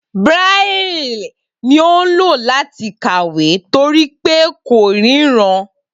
Braille ni ó ń lò láti kàwé torí pé ko ríran